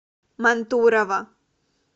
мантурово